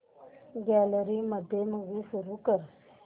gallery मध्ये movie सुरू कर